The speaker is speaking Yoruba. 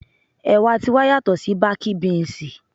Ẹ̀wà ti wa yàtò sí bákí bínsìì.